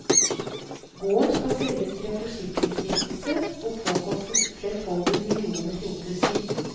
Gården skal selges til en forskningsstiftelse, og påkostes flerfoldige millioner til oppussing.